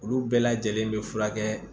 Olu bɛɛ lajɛlen be furakɛ